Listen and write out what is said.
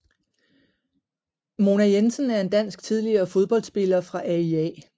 Mona Jensen er en dansk tidligere fodboldspiller fra AIA